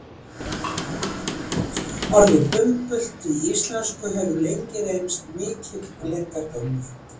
orðið bumbult í íslensku hefur lengi reynst mikill leyndardómur